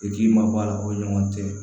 I k'i mabɔ a la o ɲɔgɔn tɛ